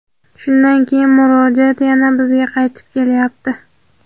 shundan keyin murojaat yana bizga qaytib kelyapti.